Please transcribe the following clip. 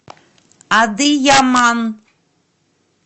адыяман